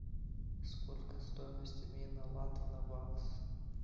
сколько стоимость обмена лата на бакс